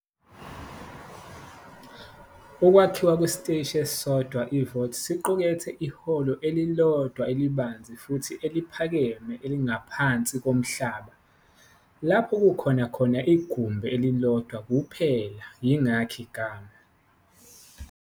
Ukwakhiwa kwesiteshi esisodwa-vault siqukethe ihholo elilodwa elibanzi futhi eliphakeme elingaphansi komhlaba, lapho kukhona khona igumbi elilodwa kuphela, yingakho igama.